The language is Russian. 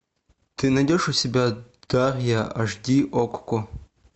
ты найдешь у себя дарья аш ди окко